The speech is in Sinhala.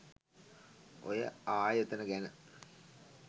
ඔය ආයතන ගැන